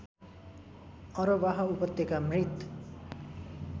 अरबाह उपत्यका मृत